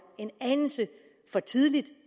en anelse for tidligt